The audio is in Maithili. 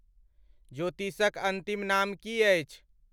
ज्योतिषक अंतिम नाम कि अछि ?